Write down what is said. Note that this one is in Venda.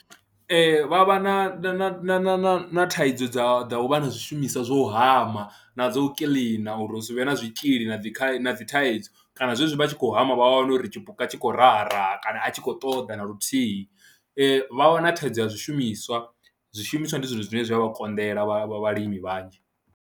Ee, vha vha na na na na thaidzo dza dza u vha na zwishumiswa zwo u hama na dzo kiḽina uri hu si vhe na zwitzhili na dzi na dzi thaidzo kana zwezwi vha tshi khou hama vha wane uri tshipuka tshi khou raha raha kana a tshi khou ṱoḓa na luthihi, vha wana thaidzo ya zwishumiswa, zwishumiswa ndi zwithu zwine zwa vha konḓela vha vhalimi vhanzhi.